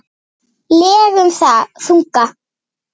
legum þunga.